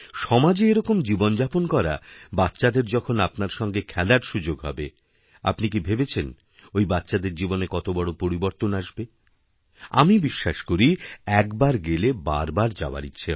সমাজে এরকম জীবনযাপন করা বাচ্চাদের যখন আপনার সঙ্গেখেলার সুযোগ হবে আপনি কি ভেবেছেন ওই বাচ্চাদের জীবনে কত বড় পরিবর্তন আসবে আমিবিশ্বাস করি একবার গেলে বারবার যাওয়ার ইচ্ছা হবে